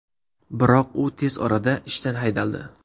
Biroq u tez orada ishdan haydaldi.